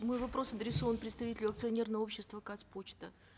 мой вопрос адресован представителю акционерного общества казпочта